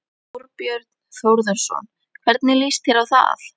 Þorbjörn Þórðarson: Hvernig líst þér á það?